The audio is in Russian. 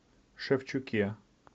шевчуке